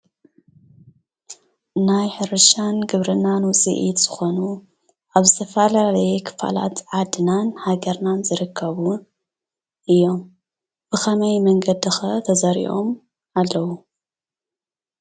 ናይ ሕርሻን ግብሪናን ውፅኢት ዝኮኑ ኣብ ዝተፈላለየ ክፋላት ዓዲናን ሃገርናን ዝርከቡ እዮም ብከመይ መንገዲ ከ ተዘሪኦም ኣለው?